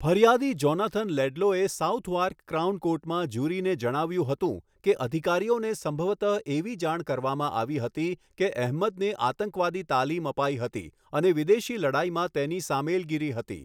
ફરિયાદી જોનાથન લેડલોએ Southwark Crown કોર્ટમાં જ્યુરીને જણાવ્યું હતું કે અધિકારીઓને સંભવતઃ એવી જાણ કરવામાં આવી હતી કે અહમદને આતંકવાદી તાલીમ અપાઈ હતી અને અને વિદેશી લડાઈમાં તેની સામેલગીરી હતી.